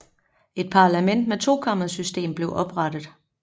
Et parlament med tokammersystem blev oprettet